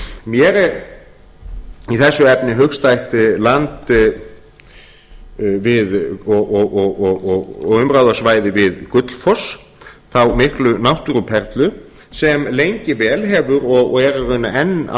mér er í þessu efni hugstætt land og umráðasvæði við gullfoss þá miklu náttúruperlu sem lengi vel hefur og er í rauninni enn að